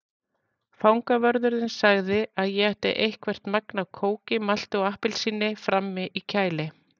Fangavörðurinn sagði að ég ætti eitthvert magn af kóki, malti og appelsíni frammi í kæli.